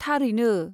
थारैनो!